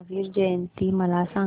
महावीर जयंती मला सांगा